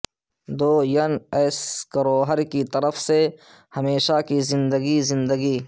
دوین ایس کروھر کی طرف سے ہمیشہ کی زندگی زندگی